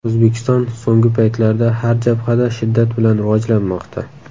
O‘zbekiston so‘nggi paytlarda har jabhada shiddat bilan rivojlanmoqda.